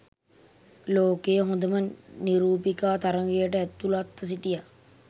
ලෝකයේ හොඳම නිරූපිකා තරගයට ඇතුළත්ව සිටියා